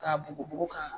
K'a bugubugu ka